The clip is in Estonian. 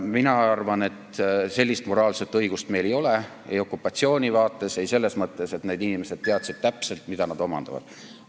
Mina arvan, et sellist moraalset õigust meil ei ole – ei okupatsiooni seisukohast vaadates ega ka selles mõttes, et need inimesed teadsid täpselt, mida nad omandavad.